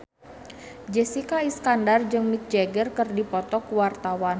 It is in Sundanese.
Jessica Iskandar jeung Mick Jagger keur dipoto ku wartawan